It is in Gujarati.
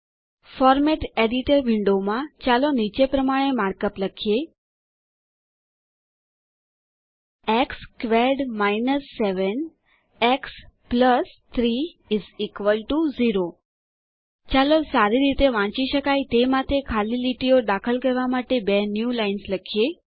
ફોરમેટ એડિટર વિન્ડો માં ચાલો નીચે પ્રમાણે માર્કઅપ લખીએ x squared minus 7 x plus 3 0 ચાલો સારી રીતે વાંચી શકાય તે માટે ખાલી લીટીઓ દાખલ કરવા માટે બે ન્યૂલાઇન્સ લખીએ